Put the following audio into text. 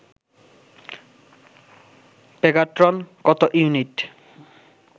Pegatron কত unit